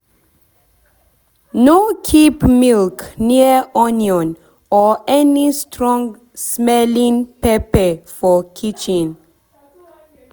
no keep milk near onion or any strong-smelling pepper for kitchen.